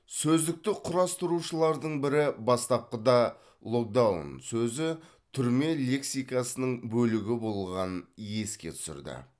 сөздікті құрастырушылардың бірі бастапқыда локдаун сөзі түрме лексикасының бөлігі болғанын еске түсірді